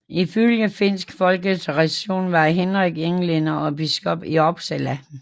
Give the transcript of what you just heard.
I følge finsk folketradition var Henrik englænder og biskop i Uppsala